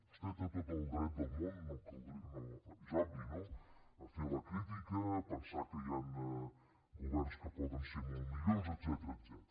vostè té tot el dret del món és obvi no a fer la crítica a pensar que hi han governs que poden ser molt millors etcètera